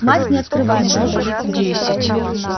мать не открывает что-то